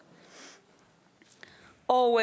og